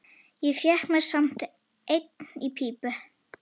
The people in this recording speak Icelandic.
Ég fékk mér samt enn í pípu.